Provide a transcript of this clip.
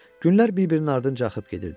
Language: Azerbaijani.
Günləri bir-birinin ardınca axıb gedirdi.